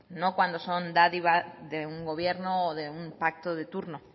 no cuando son dadivas de un gobierno o de un pacto de turno